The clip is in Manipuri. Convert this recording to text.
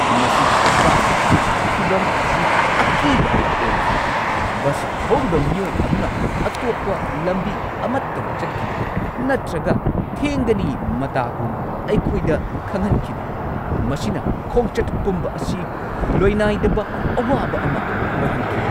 ꯉꯁꯤꯒꯤ ꯇ꯭ꯔꯥꯐꯤꯛꯀꯤ ꯐꯤꯚꯝ ꯑꯁꯤ ꯑꯀꯤꯕ ꯑꯃ ꯑꯣꯏꯈꯤ꯫ ꯕꯁ ꯊꯧꯔꯤꯕ ꯃꯤꯑꯣꯏ ꯑꯗꯨꯅ ꯑꯇꯣꯞꯄ ꯂꯝꯕꯤ ꯑꯃꯠꯇꯗ ꯆꯠꯈꯤꯗꯦ ꯅꯠꯇ꯭ꯔꯒ ꯊꯦꯡꯒꯅꯤ ꯃꯇꯥꯒꯨꯝ ꯑꯩꯈꯣꯏꯗ ꯈꯪꯍꯟꯈꯤꯗꯦ, ꯃꯁꯤꯅ ꯈꯣꯡꯆꯠ ꯄꯨꯝꯕ ꯑꯁꯤ ꯂꯣꯏꯅꯥꯏꯗꯕ ꯑꯋꯥꯕ ꯑꯃ ꯑꯣꯏꯍꯟꯈꯤ꯫